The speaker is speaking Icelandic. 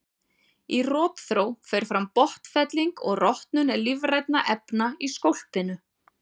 Í rotþró fer fram botnfelling og rotnun lífrænna efna í skólpinu.